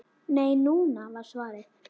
Nei, núna! var svarið.